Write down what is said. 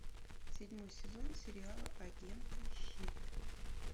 седьмой сезон сериала агенты щит